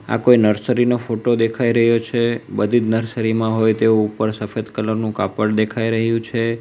આ કોઈ નર્સરી નો ફોટો દેખાય રહ્યો છે બધીજ નર્સરી માં હોય તેવું ઉપર સફેદ કલર નું કાપડ દેખાય રહ્યું છે.